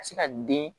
Ka se ka den